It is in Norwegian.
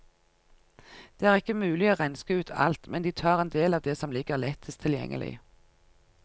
Det er ikke mulig å renske ut alt, men de tar endel av det som ligger lettest tilgjengelig.